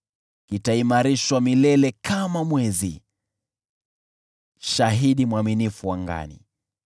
kitaimarishwa milele kama mwezi, shahidi mwaminifu angani.”